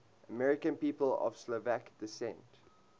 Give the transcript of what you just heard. american people of slovak descent